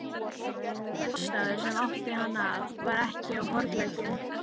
Sá málstaður, sem átti hann að, var ekki á horleggjunum.